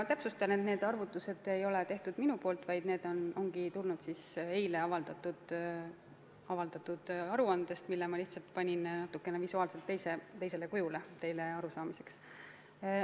Ma täpsustan, et need arvutused ei ole minu tehtud, need on võetud eile avaldatud aruandest ja ma lihtsalt esitasin need visuaalselt natuke teisel kujul, et oleks kergem aru saada.